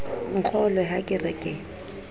nkgolwe ha ke re ke